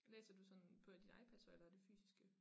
Læser du sådan på din iPad eller er det fysiske